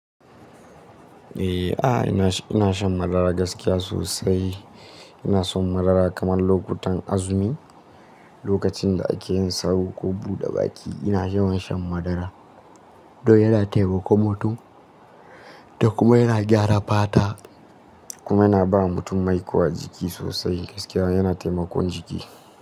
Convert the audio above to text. Eh, ina shan madara gaskiya sosai. Ina son madara kamar lokutan azumi, lokacin da ake yin sahur ko buɗe baki, ina yawan shan madara. Don yana taimakon mutum da kuma yana gyara fata kuma yana ba mutum mai ko jiki sosai gaskiya yana taimakon jiki.